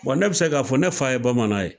Bon ne bɛ se k'a fɔ ne fa ye Bamanan ye